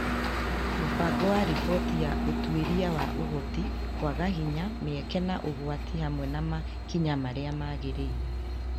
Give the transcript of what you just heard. Mũbango wa riboti ya ũtuĩria wa Ũhoti, kwaga hinya, mĩeke, na ũgwati hamwe na makinya marĩa magĩrĩire